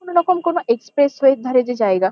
কোনো রকম কোনো এক্সপ্রেস ওয়ে -এর ধারের যে জায়গা--